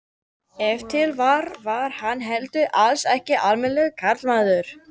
Ef til vill var hann heldur alls ekki almennilegur karlmaður.